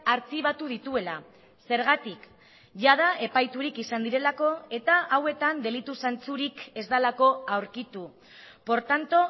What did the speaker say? artxibatu dituela zergatik jada epaiturik izan direlako eta hauetan delitu zantzurik ez delako aurkitu por tanto